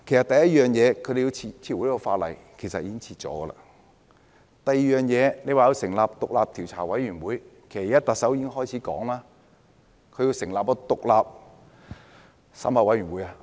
第一，撤回《逃犯條例》的修訂，其實已經撤回了；第二，成立獨立調查委員會，其實特首已說會成立獨立檢討委員會。